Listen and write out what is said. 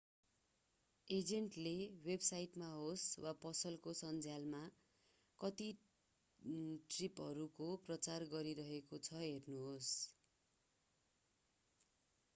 एजेन्टले वेबसाइटमा होस् वा पसलको सन्झ्यालमा कस्ता ट्रिपहरूको प्रचार गरिरहेको छ हेर्नुहोस्